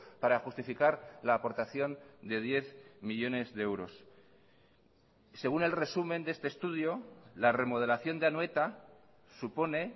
para justificar la aportación de diez millónes de euros según el resumen de este estudio la remodelación de anoeta supone